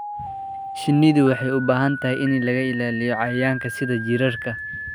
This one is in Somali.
Shinnidu waxay u baahan tahay in laga ilaaliyo cayayaanka sida jiirarka.